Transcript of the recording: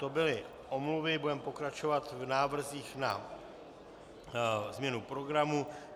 To byly omluvy, budeme pokračovat v návrzích na změnu programu.